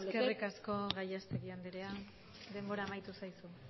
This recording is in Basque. establecer eskerrik asko gallastegui andrea denbora amaitu zaizu